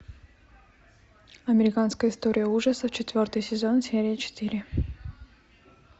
американская история ужасов четвертый сезон серия четыре